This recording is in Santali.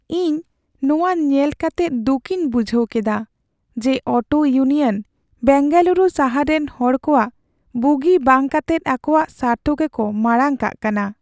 ᱤᱧ ᱱᱚᱣᱟ ᱧᱮᱞ ᱠᱟᱛᱮᱜ ᱫᱩᱠᱤᱧ ᱵᱩᱡᱷᱟᱹᱣ ᱠᱮᱫᱟ ᱡᱮ ᱚᱴᱳ ᱤᱭᱩᱱᱤᱭᱚᱱ ᱵᱮᱝᱜᱟᱞᱩᱨᱩ ᱥᱟᱦᱟᱨ ᱨᱮᱱ ᱦᱚᱲ ᱠᱚᱣᱟᱜ ᱵᱩᱜᱤ ᱵᱟᱝ ᱠᱟᱛᱮᱜ ᱟᱠᱚᱣᱟᱜ ᱥᱟᱨᱛᱷᱚ ᱜᱮᱠᱚ ᱢᱟᱲᱟᱝ ᱠᱟᱜ ᱠᱟᱱᱟ ᱾